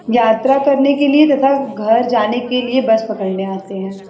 यात्रा करने के लिए तथा घर जाने के लिए बस पकड़ने आते है।